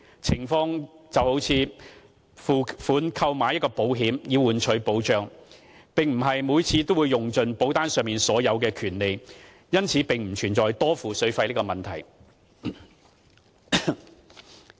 情況猶如付款購買保險以換取保障，並非每次都會用盡保單上所有的權利，因此不存在多付水費的問題。